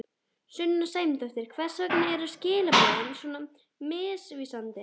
Sunna Sæmundsdóttir: Hvers vegna eru skilaboðin svona misvísandi?